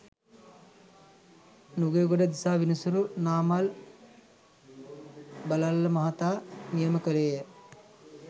නුගේගොඩ දිසා විනිසුරු නාමල් බලල්ල මහතා නියම කෙළේය.